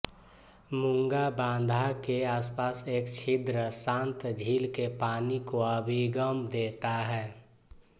मूंगा बाधा के आसपास एक छिद्र शांत झील के पानी को अभिगम देता है